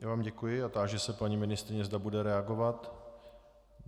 Já vám děkuji a táži se paní ministryně, zda bude reagovat.